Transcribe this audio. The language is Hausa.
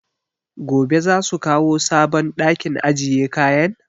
Gobe za su kawo sabon ɗakin ajiye kayan?